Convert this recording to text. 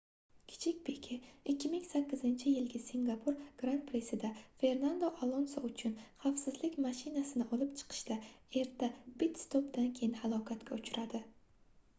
kichik pike 2008-yilgi singapur gran-prisida fernando alonso uchun xavfsizlik mashinasini olib chiqishda erta pit-stopdan keyin halokatga uchradi